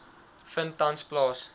vind tans plaas